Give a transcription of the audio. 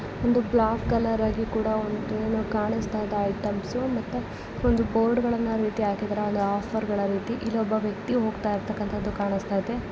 ಒಂದು black colour ಆಗಿ ಏನು ಕಾಣಿಸ್ತಾ ಇದೆ ಐಟಂ ಮತ್ತೆ ಒಂದು ಬೋರ್ಡ್ ಗಳನ್ನು ಈ ರೀತಿ ಹಾಕಿದ್ದಾರೆ ಆಫರ್ ಗಳ ರೀತಿ ಇಲ್ಲೊಬ್ಬ ವ್ಯಕ್ತಿ ಹೋಗ್ತಾ ಇರೋದನ್ನ ಕಾಣಿಸ್ತಾ ಇದೆ.